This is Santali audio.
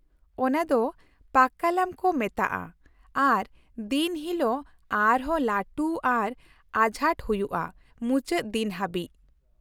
ᱚᱱᱟ ᱫᱚ ᱯᱟᱠᱠᱟᱞᱟᱢ ᱠᱚ ᱢᱮᱛᱟᱜᱼᱟ ᱟᱨ ᱫᱤᱱ ᱦᱤᱞᱳᱜ ᱟᱨ ᱦᱚᱸ ᱞᱟᱹᱴᱩ ᱟᱨ ᱟᱡᱷᱟᱴ ᱦᱩᱭᱩᱜᱼᱟ ᱢᱩᱪᱟᱹᱫ ᱫᱤᱱ ᱦᱟᱹᱵᱤᱡ ᱾